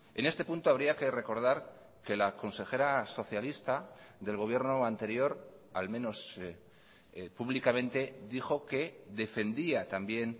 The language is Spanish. en este punto habría que recordar que la consejera socialista del gobierno anterior al menos públicamente dijo que defendía también